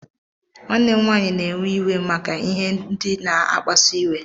Nwanne m nwanyị na-ewe iwe maka ihe ndị na-akpasu iwe.